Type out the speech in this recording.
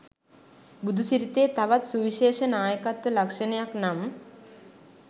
බුදුසිරිතේ තවත් සුවිශේෂ නායකත්ව ලක්‍ෂණයක් නම්